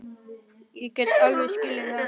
Ég get alveg skilið það.